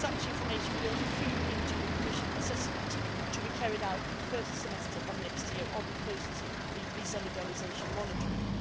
Balkans. Such information will also feed into the Commission assessment to be carried out in the first semester of next year on post visa liberalisation monitoring.